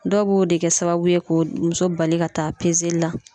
Dɔw b'o de kɛ sababu ye ka muso bali ka taa la.